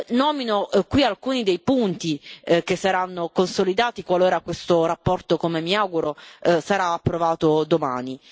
Nomino qui alcuni dei punti che saranno consolidati qualora questa relazione, come mi auguro, sarà approvata domani.